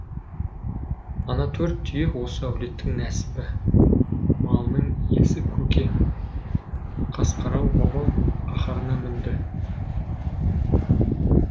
ана төрт түйе осы әулеттің нәсібі малының иесі көке қасқарау бабам қаһарына мінді